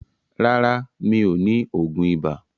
Rárá, mi ò ní oògùn ibà.